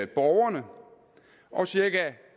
borgerne og cirka